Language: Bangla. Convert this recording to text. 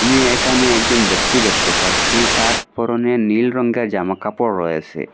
আমি এখানে একজন ব্যক্তি দেখতে পাচ্ছি তার পরনে নীল রঙের জামাকাপড় রয়েসে।